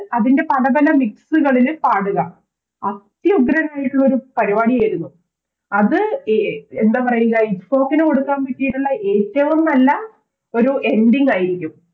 അതിൻറെ പലപല Mix കളില് പാടുക അത്യുഗ്രനായിരുന്നൊരു പരിപാടിയായിരുന്നു അത് എ എന്തപറയുക ITFOK ന് കൊടുക്കാൻ പറ്റിയിട്ടുള്ള ഏറ്റവും നല്ല ഒരു Ending ആയിരിക്കും